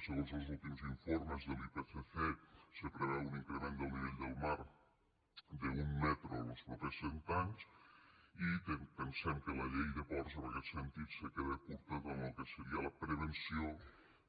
segons los últims informes de l’ipcc se preveu un increment del nivell del mar d’un metre en els propers cent anys i pensem que la llei de ports en aquest sentit se queda curta tant en lo que seria la prevenció